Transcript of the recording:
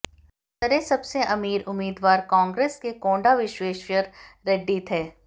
सरे सबसे अमीर उम्मीदवार कांग्रेस के कोंडा विश्वेश्वर रेड्डी थे